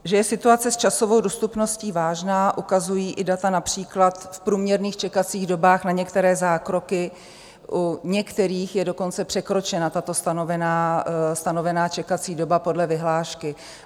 Že je situace s časovou dostupností vážná, ukazují i data například v průměrných čekacích dobách na některé zákroky, u některých je dokonce překročena tato stanovená čekací doba podle vyhlášky.